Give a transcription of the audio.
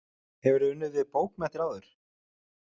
Hefur þú unnið við bókmenntir áður?